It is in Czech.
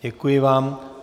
Děkuji vám.